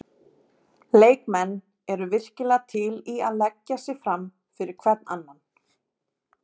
Leikmenn eru virkilega til í að leggja sig fram fyrir hvern annan.